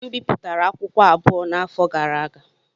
M bipụtara akwụkwọ abụọ n'afọ gara aga.